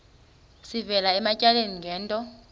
sivela ematyaleni ngento